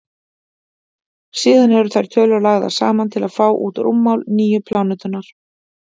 síðan eru þær tölur lagðar saman til að fá út rúmmál nýju plánetunnar